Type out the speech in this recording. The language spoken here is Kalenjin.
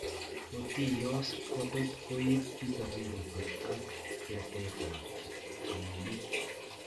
Kotiiyos kotot koib disability ak betet ab amunet